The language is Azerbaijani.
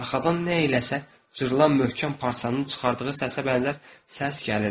Arxadan nə eləsə cırılan möhkəm parçanın çıxardığı səsə bənzər səs gəlirdi.